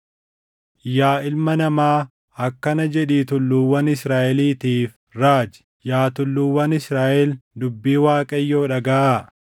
“Yaa ilma namaa, akkana jedhii tulluuwwan Israaʼeliitiif raaji; ‘Yaa tulluuwwan Israaʼel, dubbii Waaqayyoo dhagaʼaa.